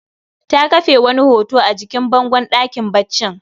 Ta kafe wani hoto a jikin bangon ɗakin baccin